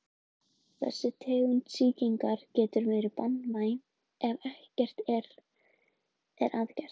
Frægast þessara tungumála er jiddíska sem hvílir á þýskum grunni.